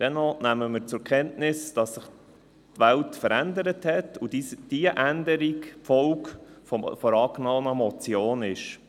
Dennoch nehmen wir zur Kenntnis, dass sich die Welt verändert hat und die angenommene Motion die Folge dieser Änderung ist.